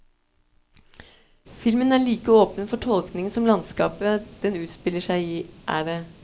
Filmen er like åpen for tolkning som landskapet den utspiller seg i er det.